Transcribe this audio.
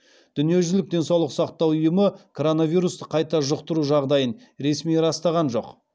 дүниежүзілік денсаулық сақтау ұйымы коронавирусты қайта жұқтыру жағдайын ресми растаған жоқ